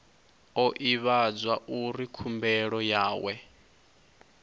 o ivhadzwa uri khumbelo yawe